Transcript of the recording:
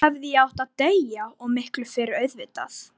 Þá hefði ég átt að deyja, og miklu fyrr auðvitað.